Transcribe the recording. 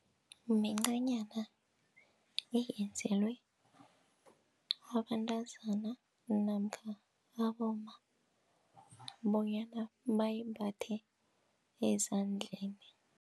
Mincanyana eyenzelwe abantazana namkha abomma bonyana bayimbathe ezandleni.